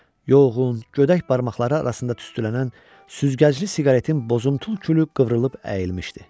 Yorğun, gödək barmaqları arasında tüstülənən süzgəcli siqaretin bozuntul külü qıvrılıb əyilmişdi.